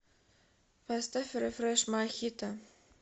поставь рефрэш мохито